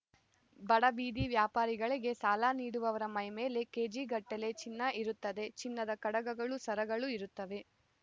ಬಡ ಬೀದಿ ವ್ಯಾಪಾರಿಗಳಿಗೆ ಸಾಲ ನೀಡುವವರ ಮೈಮೇಲೆ ಕೇಜಿಗಟ್ಟಲೆ ಚಿನ್ನ ಇರುತ್ತದೆ ಚಿನ್ನದ ಕಡಗಗಳು ಸರಗಳು ಇರುತ್ತವೆ